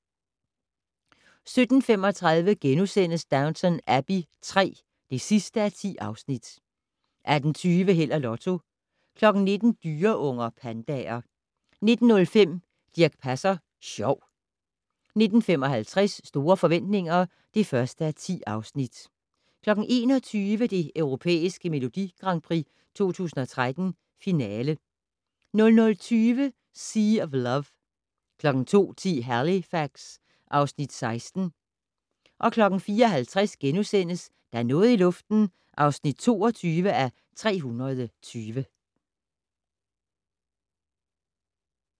17:35: Downton Abbey III (10:10)* 18:20: Held og Lotto 19:00: Dyreunger - pandaer 19:05: Dirch Passer Sjov 19:55: Store forretninger (1:10) 21:00: Det Europæiske Melodi Grand Prix 2013, finale 00:20: Sea of Love 02:10: Halifax (Afs. 16) 04:50: Der er noget i luften (22:320)*